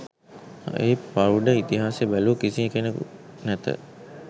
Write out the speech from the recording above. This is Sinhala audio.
ඒ පෞඩ ඉතිහාසය බැලු කිසිකෙනෙකු නැත